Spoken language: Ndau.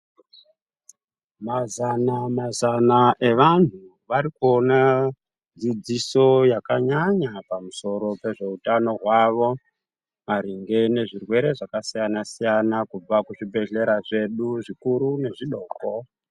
Mazana mazana evanhu varikuona dzidziso yakanyanya pamusoro pezveutano hwavo, maringe nezvirwere zvakasiyana-siyana kubva kuzvibhehlera zvedu zvikuru nezvidoko.